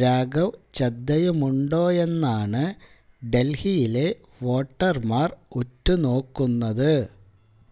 രാഘവ് ചദ്ദയുമുണ്ടോയെന്നാണ് ഡല്ഹിയിലെ വോട്ടര്മാര് ഉറ്റുനോക്കുന്നത്